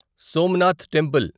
Somnath temple